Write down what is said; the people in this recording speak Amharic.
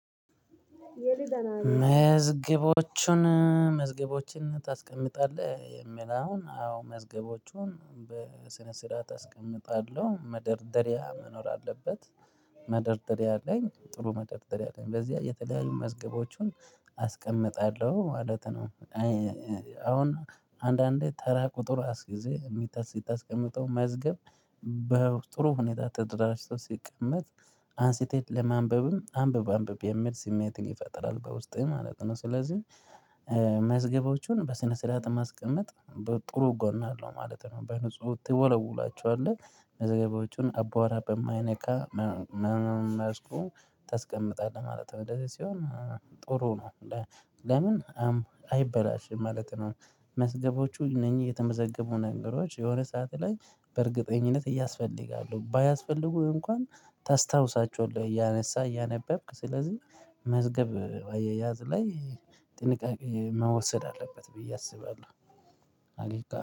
መዝገቦችን መዝገቦችን ታስቀምጣለህ የሚል አሁን አዎ መዝገቦቹን በስነ ስርዓት አስቀምጣለሁ መደርደሪያ መኖር አለበት መደርደሪያ አለኝ ጥሩ መደርደሪያ አለኝ በዚያ የተለያዩ መዝገቦችን አስቀምጣለሁ ማለት ነው። አሁን አንዳንዴ ተራ ቁጥር አስዪዘህ የምታስቀምጠው መዝገብ በጥሩ ሁኔታ ተደራጅቶ ሲቀመጥ አንስተህ ለማንበብም ለማንበብም አንብብ አንብብ የሚል ስሜትን ይፈጥራል በውስጥህ ማለት ነው። ስለዚህ መዝገቦቹን በስነ ስርዓት ማስቀመጥ ጥሩ ጎን አለው ማለት ነው። በንጹህ ትወለውላቸዋለህ መዘገቦቹን አቧራ በማይነካ መልኩ ተስቀምጣለህ ማለት ነው። እንደዚህ ሲሆን ጥሩ ነው ለምን አይበላሽም ማለት ነው። መዝገቦቹ እነኚህ የተመዘገቡ ነገሮች የሆነ ሰዓት ላይ በእርግጠኝነት ያስፈልጋሉ ባያስፈልጉህ እንኳን ታስታውሳቸዋለህ እያነሳ እያነበብክ ስለዚህ መዝገብ አያያዝ ላይ ጥንቃቄ መወሰድ አለበት ብዬ አስባለሁ።